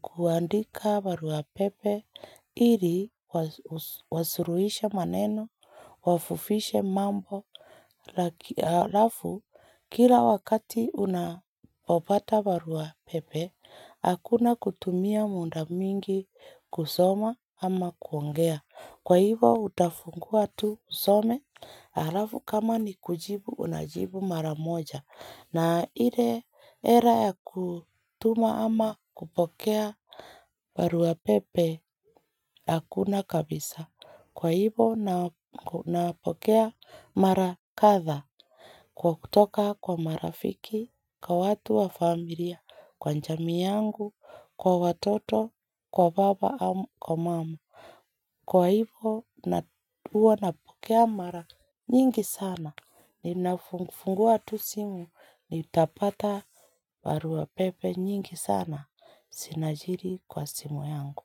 kuandika barua pepe ili wasuruhisha maneno wafufishe mambo Halafu kila wakati unapopata barua pepe Hakuna kutumia muda mingi kusoma ama kuongea Kwa hivo utafungua tu usome Halafu kama ni kujibu unajibu mara moja na ile era ya kutuma ama kupokea barua pepe Hakuna kabisa Kwa hivo napokea mara kadha Kwa kutoka kwa marafiki, kwa watu wa familia, kwa njamii yangu, kwa watoto, kwa baba au, kwa mamu. Kwa hivo na uwa napokea mara nyingi sana. Ninafungua tu simu nitapata barua pepe nyingi sana. Sinajiri kwa simu yangu.